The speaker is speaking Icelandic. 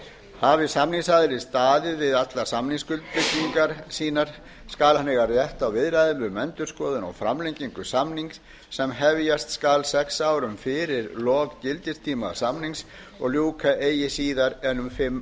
hafi samningsaðili staðið við allar samningsskuldbindingar sínar skal hann eiga rétt á viðræðum um endurskoðun á framlengingu samnings sem hefjast skal sex árum fyrir lok gildistíma samnings og ljúka eigi síðar en um fimm